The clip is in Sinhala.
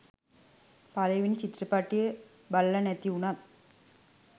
පළවෙනි චිත්‍රපටිය බලල නැති උනත්